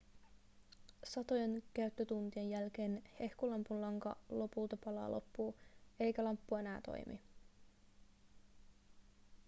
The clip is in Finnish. satojen käyttötuntien jälkeen hehkulampun lanka lopulta palaa loppuun eikä lamppu enää toimi